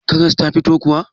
Karas ta fito kuwa?